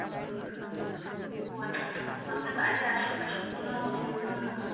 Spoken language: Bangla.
ও আচ্ছা আচ্ছা তো আপনার বাড়ির আশেপাশে কোনো এইরকম,